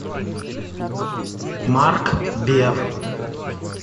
марк бер